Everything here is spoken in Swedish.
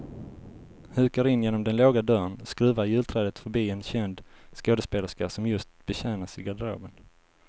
Hukar in genom den låga dörren, skruvar julträdet förbi en känd skådespelerska som just betjänas i garderoben.